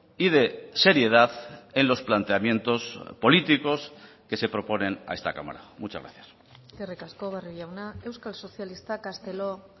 y de seriedad en los planteamientos políticos que se proponen a esta cámara muchas gracias eskerrik asko barrio jauna euskal sozialistak castelo